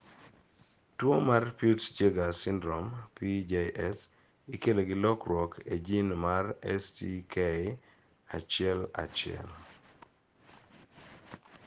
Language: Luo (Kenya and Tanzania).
Tuo mar Peutz Jeghers syndrome (PJS) ikelo gi lokruok (lokruok) e jin mar STK11.